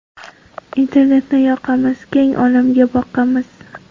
Internetni yoqamiz, Keng olamga boqamiz.